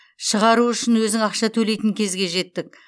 шығару үшін өзің ақша төлейтін кезге жеттік